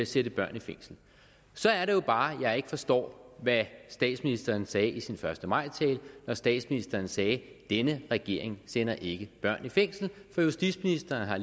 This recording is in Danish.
sætte børn i fængsel så er det jo bare jeg ikke forstår hvad statsministeren sagde i sin første maj tale når statsministeren sagde denne regering sender ikke børn i fængsel for justitsministeren har